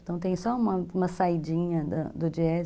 Então, tem só uma saídinha do Jazz.